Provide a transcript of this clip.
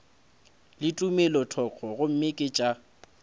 le tumelothoko gomme ke tša